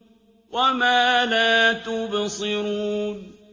وَمَا لَا تُبْصِرُونَ